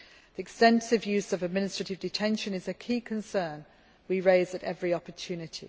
The extensive use of administrative detention is a key concern we raise at every opportunity.